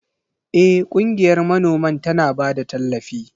Eh, ƙungiyar manoman tana ba da tallafi.